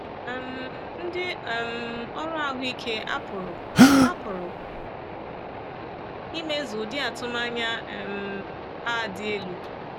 um Ndị um ọrụ ahụ ike apụrụ apụrụ imezu ụdị atụmanya um a dị elu?